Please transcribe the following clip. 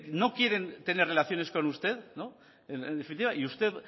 no quieren tener relaciones con usted en definitiva y usted